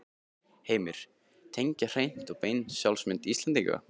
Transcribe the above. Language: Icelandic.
Heimir: Tengjast hreint og beint sjálfsmynd Íslendinga?